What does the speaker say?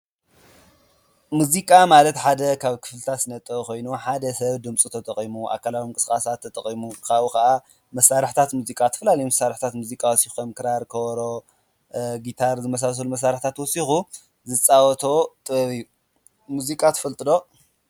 ሙዚቃ ማለት ሓደ ክፍልታት ስነ ጥበብ ኮይኑ ሓደ ሰብ ድምፂ ተጠቂሙ ኣካላዊ ምንቅስቃስ ተጠቂሙ ወይ ከዓ መሳርሕታት ሙዚቃ ዝተፈላለየ መሳርሕታት ሙዚቃ ወሲኮም ክራር ከበሮ ጊታር ዝመሳሰሉ መሳርሕታት ሙዚቃ ተጠቂሙ ዝፃወቶ ጥበብ እዩ። ሙዚቃ ትፈልጡ ዶ?